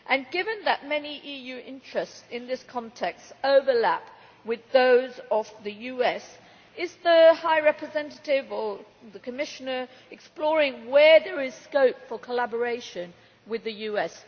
Given that many EU interests in this context overlap with those of the USA, is the High Representative or the Commissioner exploring where there is scope for collaboration with the US?